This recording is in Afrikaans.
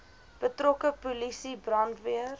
betrokke polisie brandweer